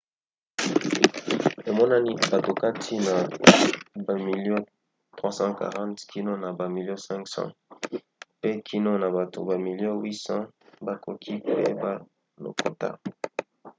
emonani bato kati na bamilio 340 kino na bamilio 500 pe kino na bato bamilio 800 bakoki koyeba lokota